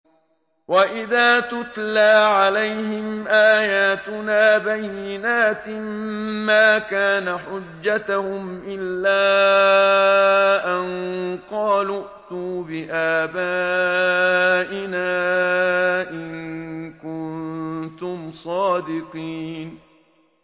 وَإِذَا تُتْلَىٰ عَلَيْهِمْ آيَاتُنَا بَيِّنَاتٍ مَّا كَانَ حُجَّتَهُمْ إِلَّا أَن قَالُوا ائْتُوا بِآبَائِنَا إِن كُنتُمْ صَادِقِينَ